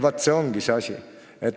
" Vaat see ongi see asi!